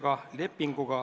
Kaja Kallas, palun!